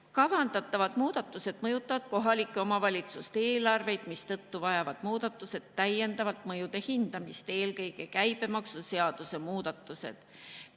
Kavandatavad muudatused mõjutavad kohalike omavalitsuste eelarveid, mistõttu vajavad muudatused täiendavat mõjude hindamist, eelkõige käibemaksuseaduse muudatused.